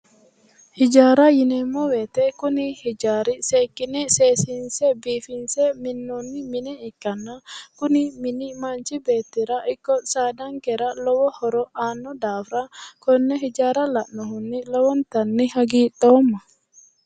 Hijaara yinneemmo woyte kuni hijaari seekkine seesinse biifinse minnoni mine ikkanna kuni mini manchi beettira ikko saadankera lowo horo aano daafira konne hijaara lae lowontanni hagiidhoomma".